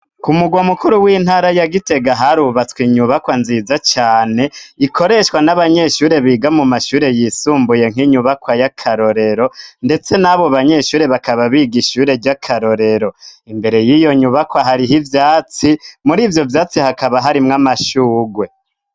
Ku mugwa mukuru w'intara ya gitega harubatswe inyubakwa nziza cane ikoreshwa n'abanyeshure biga mu mashure yisumbuye nk'inyubakwa y'akarorero ndetse n'abo banyeshure bakaba biga ishure ry'akarorero, imbere y'iyo nyubakwa hariho ivyatsi muri ivyo vyatsi hakaba harimwo amashugwe.